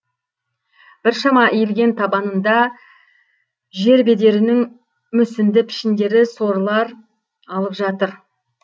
біршама иілген табанында жербедерінің мұсінді пішіндері сорлар алып жатыр